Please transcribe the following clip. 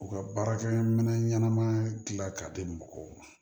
U ka baarakɛ minɛn ɲɛnama dilan ka di mɔgɔw ma